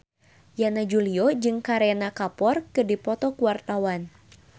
Yana Julio jeung Kareena Kapoor keur dipoto ku wartawan